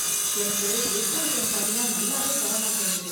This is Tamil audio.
எனக்கு வெஜ் ஐட்டம் பண்ணினா நல்லாவே வர மாட்டேங்குது.